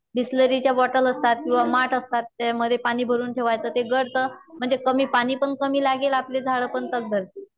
बिसलेरीच्या bottle असतात किंवा माठ असतात त्यामध्ये पाणी भरून ठेवायचते गळत म्हणजे कमी पाणी पण कमी लागेल आपले झाड पण तग धरतील